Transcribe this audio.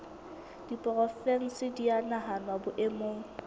diporofensi di a nahanwa boemong